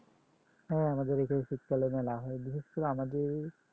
শীতকালে মেলা হয় বিশেষ করে আমাদের